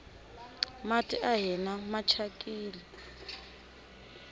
mati a hina machakini